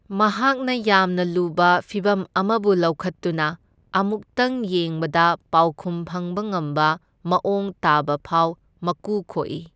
ꯃꯍꯥꯛꯅ ꯌꯥꯝꯅ ꯂꯨꯕ ꯐꯤꯚꯝ ꯑꯃꯕꯨ ꯂꯧꯈꯠꯇꯨꯅ ꯑꯃꯨꯛꯇꯪ ꯌꯦꯡꯕꯗ ꯄꯥꯎꯈꯨꯝ ꯐꯪꯕ ꯉꯝꯕ ꯃꯥꯑꯣꯡ ꯇꯥꯕ ꯐꯥꯎ ꯃꯀꯨ ꯈꯣꯛꯏ꯫